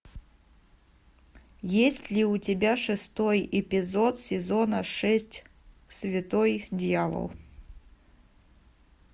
есть ли у тебя шестой эпизод сезона шесть святой дьявол